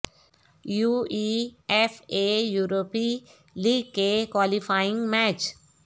you E F A یورپی league کے qualifying match